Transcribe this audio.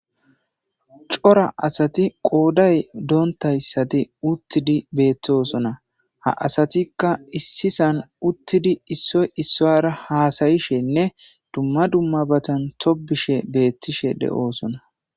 Cora asati qooday doontayssati uttidi beettosona ha asatikka issisan uttidi issoy issaara haasayishenne dumma dumma batan tobishe beettishe de'oosona.